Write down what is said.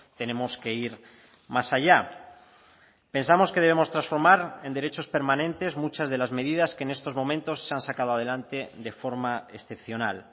tenemos que ir más allá pensamos que debemos transformar en derechos permanentes muchas de las medidas que en estos momentos se han sacado adelante de forma excepcional